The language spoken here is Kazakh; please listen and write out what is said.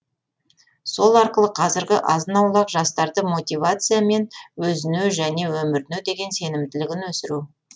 сол арқылы қазіргі азын аулақ жастарды мотивация мен өзіне және өміріне деген сенімділігін өсіру